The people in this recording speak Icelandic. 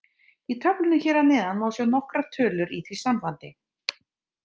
Í töflunni hér að neðan má sjá nokkrar tölur í því sambandi.